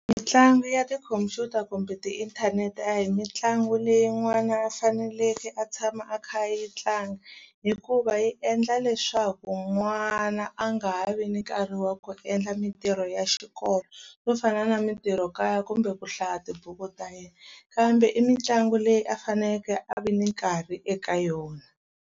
Mitlangu ya tikhomphyuta kumbe tiinthanete a hi mitlangu leyi n'wana a faneleke a tshama a kha a yi tlanga hikuva yi endla leswaku n'wana a nga ha vi ni nkarhi wa ku endla mitirho ya xikolo swo fana na mitirhokaya kumbe ku hlaya tibuku ta yena kambe i mitlangu leyi a faneleke a vi ni nkarhi eka yona.